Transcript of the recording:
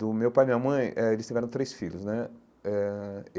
Do meu pai e minha mãe, eh eles tiveram três filhos né eh.